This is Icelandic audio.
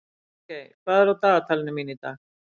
Bjargey, hvað er í dagatalinu mínu í dag?